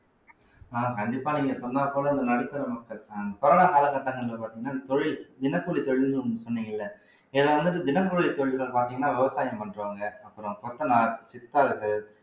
அஹ் கண்டிப்பா நீங்க சொன்னாக்கூட இந்த நடுத்தர மக்கள் அஹ் corona காலகட்டங்கள்ல பார்த்தீங்கன்னா தொழில் தினக்கூலி தொழில்ன்னு ஒண்ணு சொன்னீங்க இல்லை ஏன்னா வந்துட்டு தினக்கூலி தொழில்ல பாத்தீங்கன்னா விவசாயம் பண்றவங்க அப்புறம் கொத்தனார் சித்தாள்கள்